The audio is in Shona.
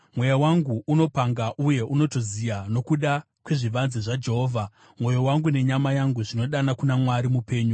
Mweya wangu unopanga, uye unotoziya, nokuda kwezvivanze zvaJehovha; mwoyo wangu nenyama yangu zvinodana kuna Mwari mupenyu.